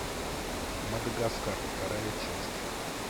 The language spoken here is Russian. мадагаскар вторая часть